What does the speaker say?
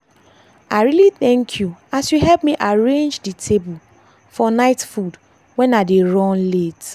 i really thank you as you help arrange dey table for night food when i dey run late.